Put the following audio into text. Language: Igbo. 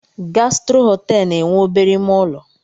Gastro họteelụ na-enwe obere ime ụlọ.